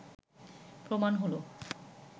প্রমাণ হলো